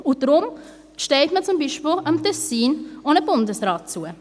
Und deshalb gesteht man zum Beispiel dem Kanton Tessin auch einen Bundesrat zu.